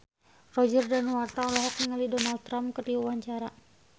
Roger Danuarta olohok ningali Donald Trump keur diwawancara